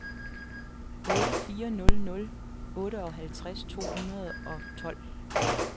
otte fire nul nul otteoghalvtreds to hundrede og tolv